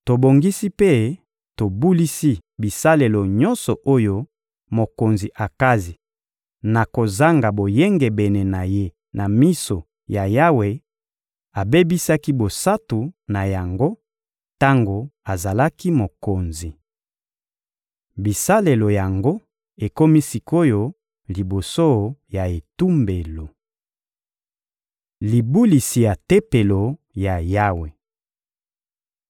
Tobongisi mpe tobulisi bisalelo nyonso oyo mokonzi Akazi, na kozanga boyengebene na ye na miso ya Yawe, abebisaki bosantu na yango tango azalaki mokonzi. Bisalelo yango ekomi sik’oyo liboso ya etumbelo. Libulisi ya Tempelo ya Yawe